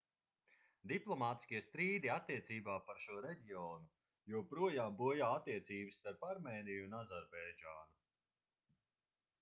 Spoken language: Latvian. diplomātiskie strīdi attiecībā par šo reģionu joprojām bojā attiecības starp armēniju un azerbaidžānu